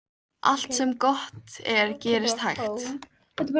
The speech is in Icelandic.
Allt sem gott er gerist hægt.